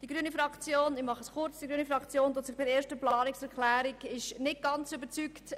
Die grüne Fraktion ist von der ersten Planungserklärung nicht ganz überzeugt.